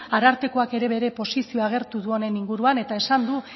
arartekoak ere bere posizioa agertu du honen inguruan eta esan du